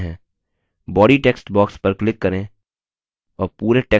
body text box पर click करें और पुरे टेक्स्ट को चुनें अब इसे डिलीट करें